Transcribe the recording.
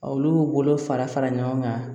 Olu bolo fara fara ɲɔgɔn kan